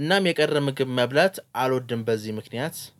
እናም የቀረ ምግብ መብላት አልወድም በዚህ ምክንያት